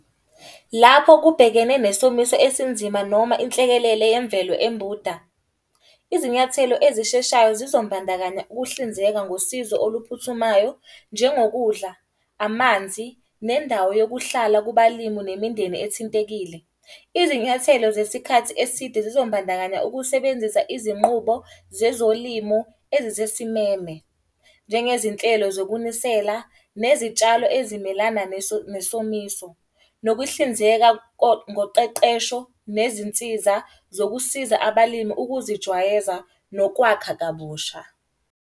Lapho kubhekene nesomiso esinzima noma inhlekelele yemvelo eMbunda. Izinyathelo ezisheshayo zizombandakanya ukuhlinzeka ngosizo oluphuthumayo. Njengokudla, amanzi, nendawo yokuhlala kubalimi nemindeni ethintekile. Izinyathelo zesikhathi eside zizombandakanya ukusebenzisa izinqubo zezolimo ezisesimeme. Njengezinhlelo zokunisela, nezitshalo ezimelana nesomiso, nokuhlinzeka ngokuqeqesho nezinsiza zokusiza abalimi ukuzijwayeza. Nokwakha kabusha.